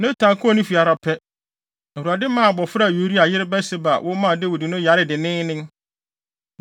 Natan kɔɔ ne fi ara pɛ, Awurade maa abofra a Uria yere Batseba wo maa Dawid no yaree denneennen.